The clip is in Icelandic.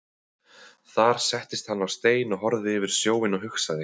Þar settist hann á stein og horfði yfir sjóinn og hugsaði.